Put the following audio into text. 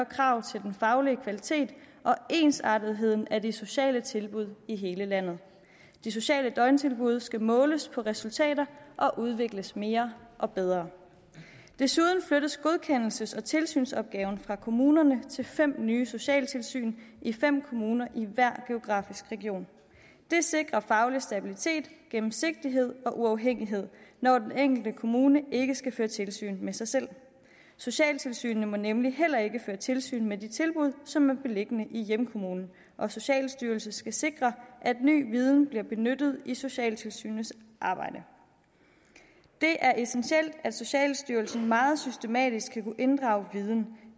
krav til den faglige kvalitet og ensartetheden af de sociale tilbud i hele landet de sociale døgntilbud skal måles på resultater og udvikles mere og bedre desuden flyttes godkendelses og tilsynsopgaven fra kommunerne til fem nye socialtilsyn i fem kommuner i hver geografisk region det sikrer faglig stabilitet gennemsigtighed og uafhængighed når den enkelte kommune ikke skal føre tilsyn med sig selv socialtilsynene må nemlig heller ikke føre tilsyn med de tilbud som er beliggende i hjemkommunen og socialstyrelsen skal sikre at ny viden bliver benyttet i socialtilsynets arbejde det er essentielt at socialstyrelsen meget systematisk skal kunne inddrage viden